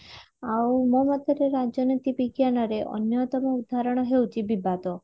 ଆଉ ମୋ ମତରେ ରାଜନୀତି ବିଜ୍ଞାନ ରେ ଅନ୍ୟତମ ଉଦାହରଣ ହେଉଚି ବିବାଦ